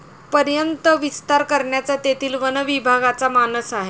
पर्यंत विस्तार करण्याचा तेथील वनविभागाचा मानस आहे.